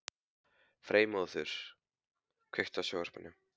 Freymóður, kveiktu á sjónvarpinu.